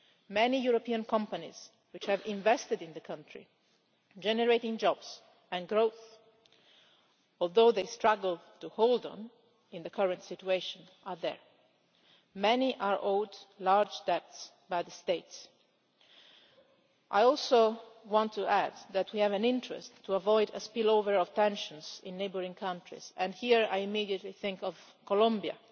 Many European companies which have invested in the country, generating jobs and growth, although they struggle to hold on in the current situation are there. Many are owed large debts by the States. I also want to add that we have an interest in avoiding a spillover of tensions into neighbouring countries and here I immediately think of Colombia,